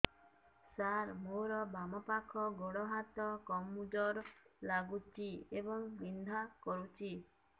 ସାର ମୋର ବାମ ପାଖ ଗୋଡ ହାତ କମଜୁର ଲାଗୁଛି ଏବଂ ବିନ୍ଧା କରୁଛି